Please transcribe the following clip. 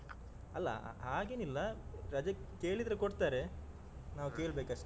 ಅಲ್ಲ ಹಾಗೇನಿಲ್ಲ ರಜೆ ಕೇಳಿದ್ರೆ ಕೊಡ್ತಾರೆ. ನಾವು ಕೇಳ್ಬೇಕಷ್ಟೆ.